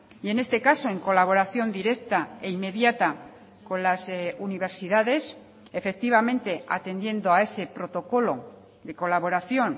y en este caso en colaboración directa e inmediata con las universidades efectivamente atendiendo a ese protocolo de colaboración